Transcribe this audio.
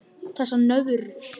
Þessar nöðrur!